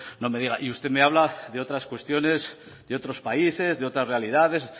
no me diga y usted me habla de otras cuestiones de otros países de otras realidades